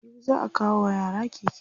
Jibi za'a kawo wa yara keke.